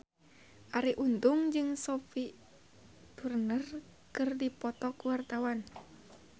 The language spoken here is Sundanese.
Arie Untung jeung Sophie Turner keur dipoto ku wartawan